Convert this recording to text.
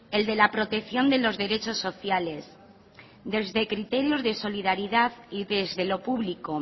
el de la protección de los derechos sociales desde criterios de solidaridad y desde lo público